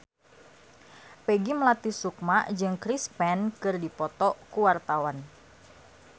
Peggy Melati Sukma jeung Chris Pane keur dipoto ku wartawan